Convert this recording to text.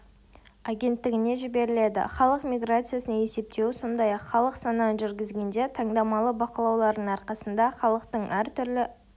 агенттігіне жіберіледі халық миграциясын есептеу сондай-ақ халық санағын жүргізгенде таңдамалы бақылаулардың арқасында халықтың әр түрлі